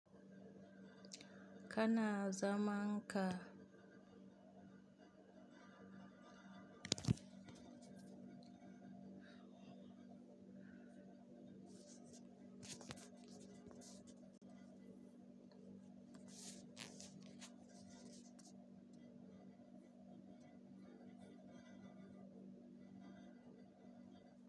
Kana zamanka.